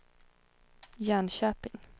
Jönköping